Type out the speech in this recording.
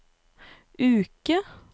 uke